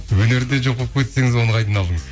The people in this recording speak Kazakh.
өнерде жоқ болып кетсеңіз оны қайдан алдыңыз